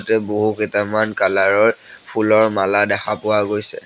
ইয়াতে বহুকেইটামান কালাৰ ৰ ফুলৰ মালা দেখা পোৱা গৈছে।